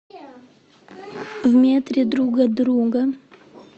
в метре друг от друга